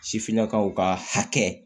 Sifinnakaw ka hakɛ